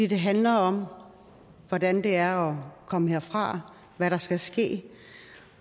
det handler om hvordan det er at komme herfra hvad der skal ske